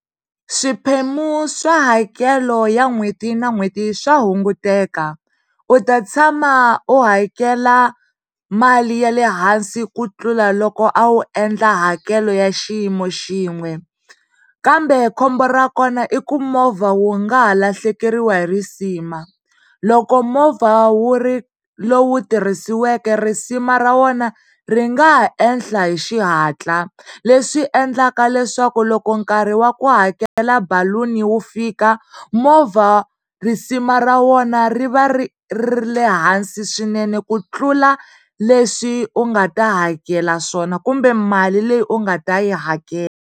Swiphemu swa hakelo ya n'hweti na n'hweti swa hunguteka. U ta tshama u hakela mali ya le hansi ku tlula loko a wu endla hakelo ya xiyimo xin'we kambe khombo ra kona i ku movha wu nga ha lahlekeriwa hi risima. Loko movha wu ri lowu tirhisiweke risima ra wona ri nga ha ehla hi xihatla leswi endlaka leswaku loko nkarhi wa ku hakela baluni wu fika movha risima ra wona ri va ri ri ehansi swinene ku tlula leswi u nga ta hakela swona kumbe mali leyi u nga ta yi hakela.